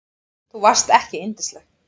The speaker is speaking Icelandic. Þú varst ekki yndisleg.